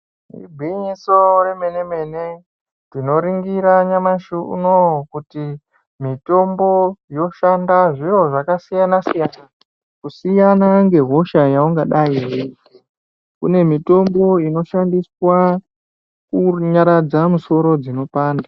Igwinyiso remene mene-mene tinoringira nyamashi unouyu kuti mitombo yoshanda zviro zvakasiyana-siyana. Kusiyana ngehosha yaungadai veizwe kune mitombo inoshandiswa kunyaradza musoro dzinopanda.